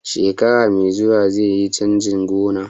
Shekara mai zuwa zaiyi canjin gona